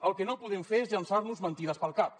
el que no podem fer és llançar nos mentides pel cap